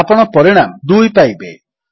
ଆପଣ ପରିଣାମ 2 ପାଇବେ